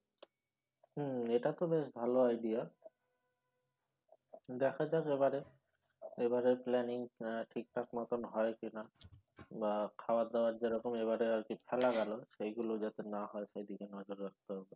হম এটা তো বেশ ভালো idea দেখা যাক এবারে এবারের planning আহ ঠিক ঠিক মতন হয় কিনা বা খাওয়ার দেওয়ার যেরকম এবারে আর কি ফেলা গেল সেইগুলো যাতে না হয় সেদিকে নজর রাখতে হবে